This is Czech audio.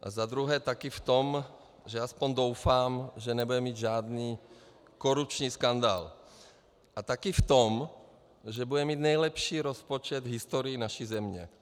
A za druhé taky v tom, že, aspoň doufám, že nebude mít žádný korupční skandál, a taky v tom, že bude mít nejlepší rozpočet v historii naší země.